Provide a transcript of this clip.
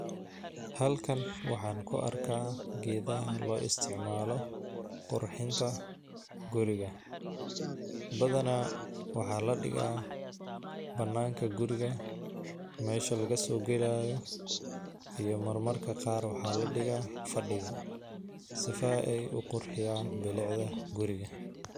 Halkan waxan ku arkaa geedaha loo isticmaalo qurxinta guriga ,badanaa waxaa la dhigaa ,banaanka guriga ,meesha lagasoo galaayo, iyo marmarka qaar waxaa la dhigaa fadhiga ,sifa ay u qurxiyaan bilicda guriga .